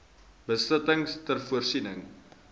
besittings ter voorsiening